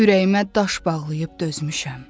Ürəyimə daş bağlayıb dözmüşəm.